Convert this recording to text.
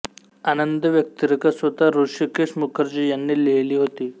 आनंद व्यक्तिरेखा स्वत ह्र्षिकेश मुखर्जी यांनी लिहिली होती